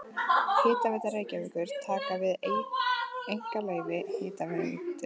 Hitaveita Reykjavíkur taka við einkaleyfi Hitaveitu